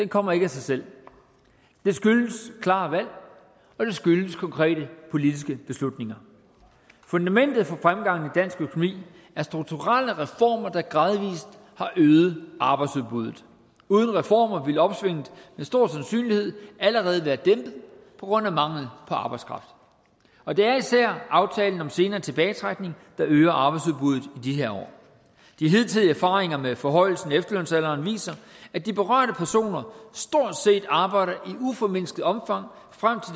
kommer af sig selv det skyldes klare valg og det skyldes konkrete politiske beslutninger fundamentet for fremgangen dansk økonomi er strukturelle reformer der gradvis har øget arbejdsudbuddet uden reformer ville opsvinget med stor sandsynlighed allerede være dæmpet på grund af mangel på arbejdskraft og det er især aftalen om senere tilbagetrækning der øger arbejdsudbuddet i de her år de hidtidige erfaringer med forhøjelsen af efterlønsalderen viser at de berørte personer stort set arbejder i uformindsket omfang frem